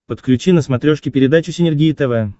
подключи на смотрешке передачу синергия тв